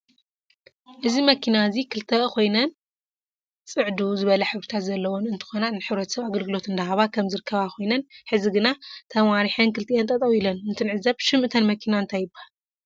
እዚ መኪና እዚ ክልተ ኮይነን ፅዕድው ዝበለ ሕብሪታት ዘለዎን እንትኮና ንሕረተሰብ ኣግልግሎት እዳሃበ ከም ዝርከባ ኮይነን ሕዚ ግና ተማሪሕን ክልተኢን ጠጠው እለን እንትዕዘብ ሽም እተን መኪና እንታይ ይበሃለ?